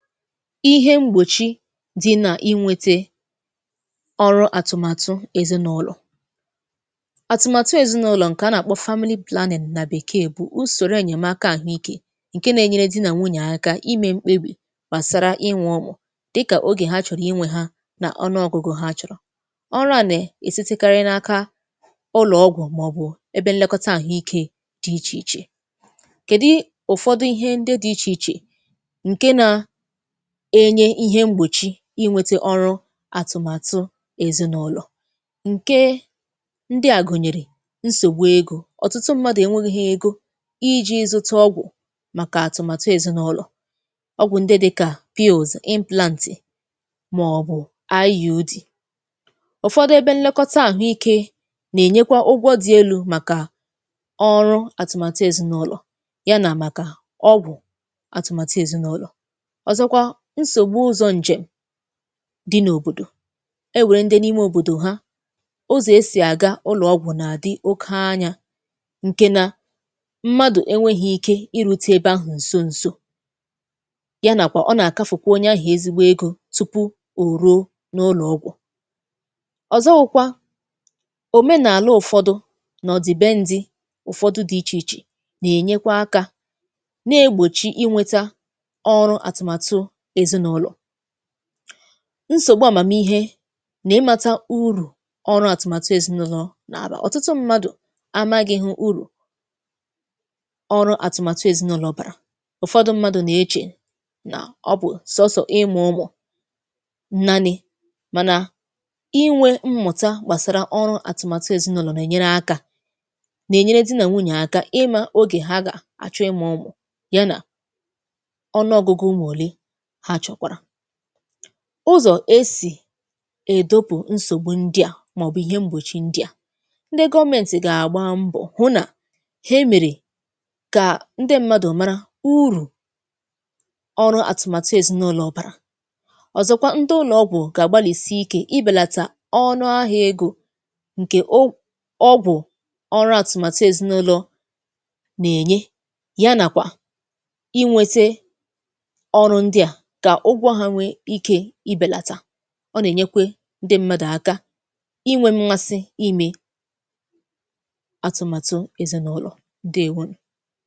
Ihe mgbòchi dị nà inwete ọrụ àtụ̀màtụ èzinàụlọ̀. Àtụ̀màtụ èzinàụlọ̀ ǹkè a nà-àkpọ family planning nà bèkee bụ usòrò ènyèmaka àhụike ǹke na-enyere dị nà nwunyè aka ime mkpebì gbàsara inwe ụmụ̀ dịkà ogè ha chọ̀rọ̀ inwe ha n’ọnụọgụgụ ha chọ̀rọ̀. Ọrụ à nà-èsitekarị n’aka ụlọ̀ ọgwụ̀ màọ̀bụ̀ ebe nlekọta àhụ ike dị ichè ichè. Kèdi ụ̀fọdụ ihe ndị dị ichè ichè ǹke nà-enye ihe mgbòchi inwete ọrụ àtụ̀màtụ èzịnụlọ̀? Nke ndị à gụ̀nyèrè nsògbu ego; ọ̀tụtụ mmadụ̀ ènweghi̇ ego iji̇ zụta ọgwụ̀ màkà àtụ̀màtụ èzịnụlọ̀, ọgwụ̀ ndị dịkà pills, implantì màọbụ̀ IUD. Ụfọdụ ebe nlekọta àhụikė nà-ènyekwa ụgwọ dị elu màkà ọrụ àtụ̀màtụ èzịnụlọ̀ ya nà màkà ọgwụ̀ àtụ̀màtụ èzịnụlọ̀. Ọzọ̀kwa nsògbu ụzọ ǹje m di n’òbòdò, enwère ndị n’ime òbòdò ha ụzọ̀ esì àga ụlọ̀ ọgwụ̀ nà-àdị oke anya ǹke nà mmadụ̀ enweghi̇ ike irute ebe ahụ̀ ǹso ǹso ya nàkwà ọ nà-àkafùkwa onye ahụ̀ ezigbo ego tupu ò ruo n’ụlọ̀ ọgwụ̀. Ọzọwụkwa òmenàla ụ̀fọdụ nà ọ̀ dị be ǹdị ụ̀fọdụ dị ichè ichè nà-ènyekwa aka na-egbòchi ịnweta ọrụ àtụmàtụ èzinụlọ̀. Nsògbu àmàmihe nà ịmata urù ọrụ àtụmàtụ èzinụlọ̀ nà àba; ọ̀tụtụ mmadụ̀ amaghị hụ urù ọrụ àtụmàtụ èzinụlọ̀ bàrà. Ụfọdụ mmadụ nà-echè nà ọ bụ̀ sọ̀sọ̀ ịmụ ụmụ̀ nnanị̇ mànà inwe mmụ̀ta gbàsara ọrụ àtụmàtụ èzinụlọ̀ nà-ènyere aka nà-ènyere di nà nwunyè aka ịma ogè ha gà àchọ ịmụ ụmụ̀ ya nà ọnụ ọgụgụ ụmụ ole ha chọkwara. Ụzọ̀ esì èdopù nsògbù ndị a màọ̀bụ̀ ihe m̀bọchị ndị a; ndị gọọmentì gà-àgba mbọ̀ hụ nà ha emèrè kà ndị mmadụ̀ mara urù ọrụ àtụ̀màtụ èzinụlọ̀ bàrà, ọ̀zọ̀kwa ndị ụlọ ọgwụ gà-àgbalìsi ike ịbèlàtà ọnụ ahịa ego ǹkè o ọgwụ̀ ọrụ àtụ̀màtụ èzinụlọ̀ nà-ènye ya nàkwà inwete ọrụ ndịa ka ụgwọ ha nwee ike ibelata. Ọ nà-ènyekwe ǹdị m̀madụ̀ àkà inwe m̀masị ime àtụ̀màtụ èzènụlọ̀, ǹdeèwonù.